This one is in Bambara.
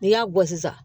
N'i y'a bɔ sisan